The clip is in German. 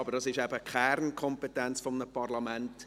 Aber das ist eben die Kernkompetenz eines Parlaments.